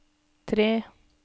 tre